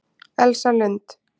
Elsa Lund